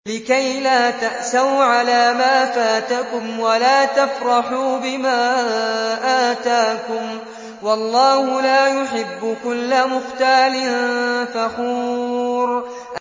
لِّكَيْلَا تَأْسَوْا عَلَىٰ مَا فَاتَكُمْ وَلَا تَفْرَحُوا بِمَا آتَاكُمْ ۗ وَاللَّهُ لَا يُحِبُّ كُلَّ مُخْتَالٍ فَخُورٍ